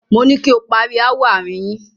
Moní kí o pari ááwọ̀ àárín yín!